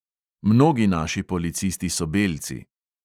Mnogi naši policisti so belci.